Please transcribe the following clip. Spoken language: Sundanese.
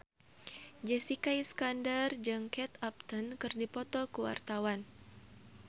Jessica Iskandar jeung Kate Upton keur dipoto ku wartawan